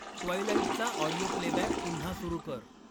ट्वाईलाईटचा audio playback पुन्हा सुरु कर.